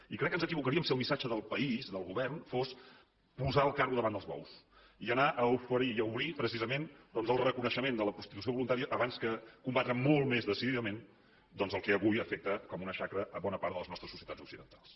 i crec que ens equivocaríem si el missatge del país del govern fos posar el carro davant dels bous i anar a oferir i a obrir precisament doncs el reconeixement de la prostitució voluntària abans que combatre molt més decididament el que avui afecta com una xacra bona part de les nostres societats occidentals